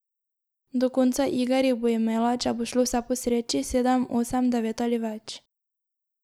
Do konca iger jih bo imela, če bo šlo vse po sreči, sedem, osem, devet ali več.